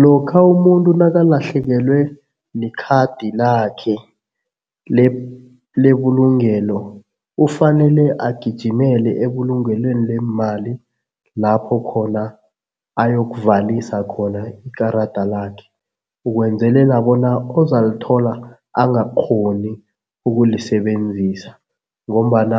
Lokha umuntu nakalahlekelwe likhadi lakhe lebulungelo, ufanele agijimele ebulungelweni leemali lapho khona ayokuvalisa khona ikarada lakhe. Ukwenzelela bona ozalithola angakghoni ukulisebenzisa ngombana